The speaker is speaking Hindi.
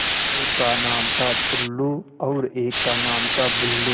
एक का नाम था टुल्लु और एक का नाम था बुल्लु